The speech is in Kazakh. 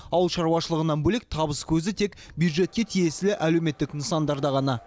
ауыл шаруашылығынан бөлек табыс көзі тек бюджетке тиесілі әлеуметтік нысандарда ғана